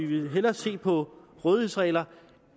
vi vil hellere se på rådighedsregler